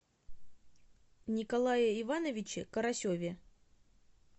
николае ивановиче карасеве